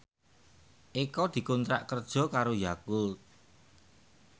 Eko dikontrak kerja karo Yakult